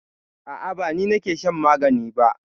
A'a ba ni ne nake shan magani ba.